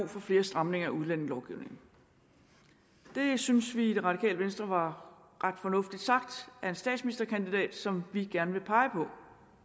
for flere stramninger af udlændingelovgivningen det synes vi i det radikale venstre var ret fornuftigt sagt af en statsministerkandidat som vi gerne vil pege